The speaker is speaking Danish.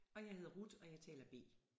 Og jeg hedder Ruth og jeg taler B